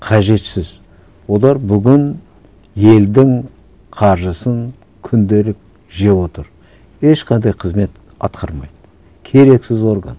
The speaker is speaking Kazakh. қажетсіз олар бүгін елдің қаржысын күнделік жеп отыр ешқандай қызмет атқармайды керексіз орган